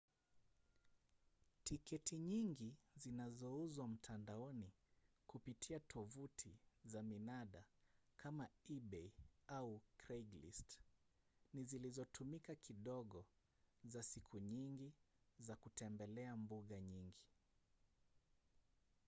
tiketi nyingi zinazouzwa mtandaoni kupitia tovuti za minada kama ebay au craiglist ni zilizotumika kidogo za siku nyingi za kutembelea mbuga nyingi